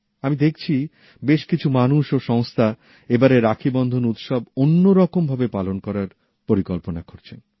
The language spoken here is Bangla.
আমি দেখছি বেশ কিছু মানুষ ও সংস্থা এবারের রাখীবন্ধন উৎসব অন্যরকম ভাবে পালন করার পরিকল্পনা করছেন